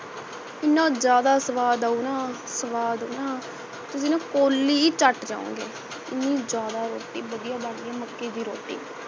ਇਹਨਾਂ ਜ਼ਿਆਦਾ ਸੁਵਾਦ ਆਯੂ ਨਾ ਸਵਾਦ ਨਾ ਤੁਸੀ ਨਾ ਕੋਲੀ ਹੀ ਚਟ ਜਾਯੋਗੇ ਇਹਨੀ ਜ਼ਿਆਦਾ ਰੋਟੀ ਵਧੀਆ ਬਣਦੀ ਮੱਕੇ ਦੀ ਰੋਟੀ